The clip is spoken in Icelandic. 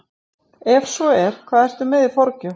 Ef svo er, hvað ertu með í forgjöf?